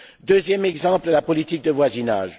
Deuxième exemple la politique de voisinage.